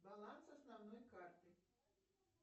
баланс основной карты